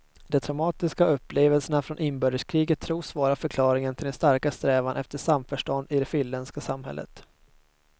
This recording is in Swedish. De traumatiska upplevelserna från inbördeskriget tros vara förklaringen till den starka strävan efter samförstånd i det finländska samhället.